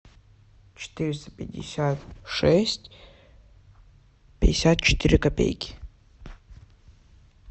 четыреста пятьдесят шесть пятьдесят четыре копейки